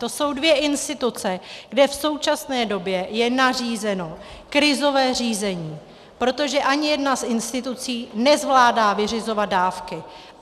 To jsou dvě instituce, kde v současné době je nařízeno krizové řízení, protože ani jedna z institucí nezvládá vyřizovat dávky.